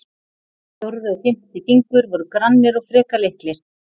Fjórði og fimmti fingur voru grannir og frekar litlir.